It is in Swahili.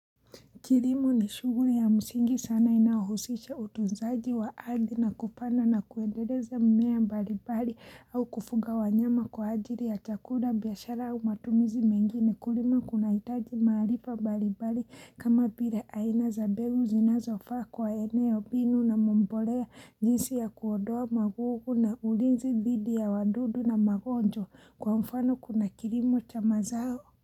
Kilimo ni shughuli ya msingi sana inaohusisha utunzaji wa ardhi na kupanda na kuendeleza mimea mbali mbali au kufuga wanyama kwa ajili ya chakuda biashara ama matumizi mengine kulima kunahitaji maarifa mbali mbali kama vile aina za mbegul zinazofaa kwa eneo mbinu na mbolea jinsi ya kuonda magogo na ulinzi dhidi ya wadudu na magonjwa kwa mfano kuna kilimo cha ma zao.